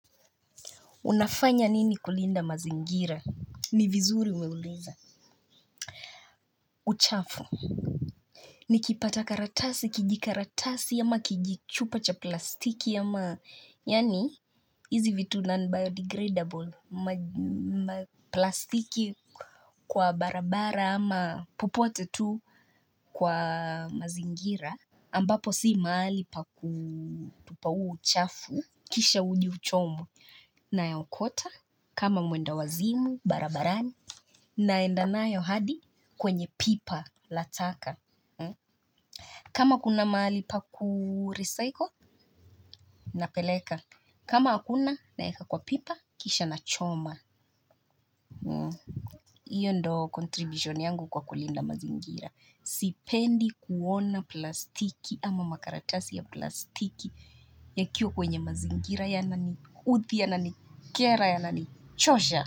Unafanya nini kulinda mazingira? Ni vizuri umeuliza. Uchafu. Ni kipata karatasi kijikaratasi ama kijichupa cha plastiki ama yaani hizi vitu non biodegradable plastiki kwa barabara ama popote tu kwa mazingira. Ambapo si mahali pa kutupa huo uchafu kisha uje uchomwe nayaokota kama mwendawazimu barabarani naendanayo hadi kwenye pipa la taka. Kama kuna mahali pa kurecycle napeleka. Kama hakuna na weka kwa pipa kisha nachoma. Hio ndo contribution yangu kwa kulinda mazingira sipendi kuona plastiki ama makaratasi ya plastiki yakiwa kwenye mazingira yananiudhi yananikera yananichosha.